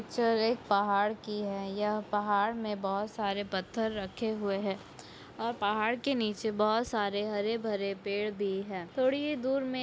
picture एक पहाड़ की है यह पहाड़ में बहुत सारे पत्थर रखे हुए हैं और पहाड़ के नीचे बहुत सारे हरे भरे पेड़ भी है थोड़ी ही दूर में--